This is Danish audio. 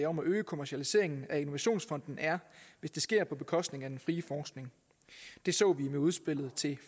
om at øge kommercialiseringen af innovationsfonden er hvis det sker på bekostning af den frie forskning det så vi med udspillet til